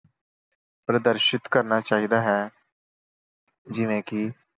ਪ੍ਰਦਰਸ਼ਿਤ ਕਰਨਾ ਚਾਹੀਦਾ ਹੈ। ਜਿਵੇਂ ਕਿ